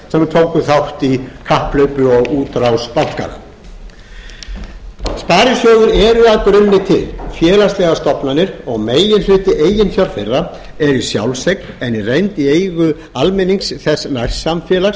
tóku þátt í kapphlaupi og útrás bankanna sparisjóðir eru að grunni til félagslegar stofnanir og meginhluti eiginfjár þeirra er í sjálfseign en í reynd í eigu almennings þess nærsamfélags